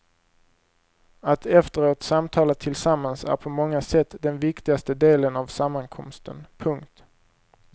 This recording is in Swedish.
Att efteråt samtala tillsammans är på många sätt den viktigaste delen av sammankomsten. punkt